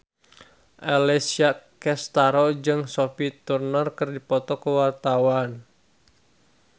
Alessia Cestaro jeung Sophie Turner keur dipoto ku wartawan